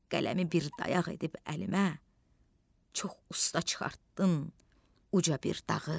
Qələmi bir dayaq edib əlimə, çox usta çıxartdın uca bir dağı.